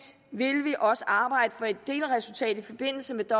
vil vi også arbejde for et delresultat i forbindelse med